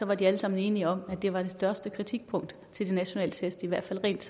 var de alle sammen enige om at det var det største kritikpunkt til de nationale test i hvert fald rent